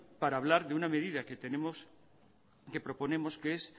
para hablar de una medida que tenemos que proponemos que es